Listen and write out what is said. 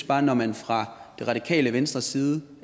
bare at når man fra det radikale venstres side